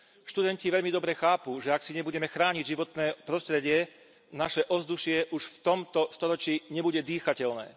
Študenti veľmi dobre chápu, že ak si nebudeme chrániť životné prostredie, naše ovzdušie už v tomto storočí nebude dýchateľné.